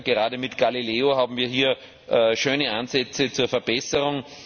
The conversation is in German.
Gerade mit Galileo haben wir hier schöne Ansätze zur Verbesserung.